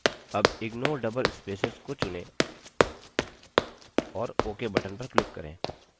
अब ignore double spaces को चुनें और ok button पर click करें